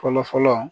Fɔlɔ fɔlɔ